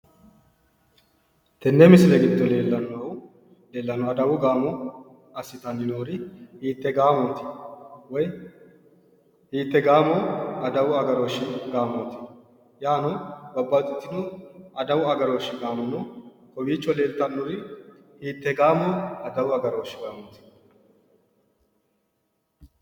Tenne misile giddo leelanohu adawu gaamo assitani noori hiite gaamoti woy hiite gaamo adawu agaroshi gamooti ? yaano babbaxitino adawu agarooshi gaamo no kowicho leelitanori hiitee gaamoo adawu agaroshi gaamoti?